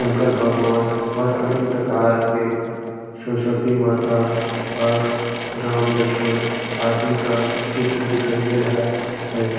शंकर भगवान और अनेक प्रकार के सरस्वती माता और राम-लक्ष्मण आदि का चित्र दिखाई दे रहा है।